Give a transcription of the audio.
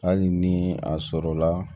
Hali ni a sɔrɔla